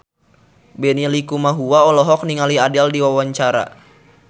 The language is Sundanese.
Benny Likumahua olohok ningali Adele keur diwawancara